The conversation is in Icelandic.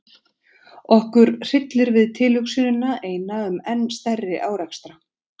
Okkur hryllir við tilhugsunina eina um enn stærri árekstra.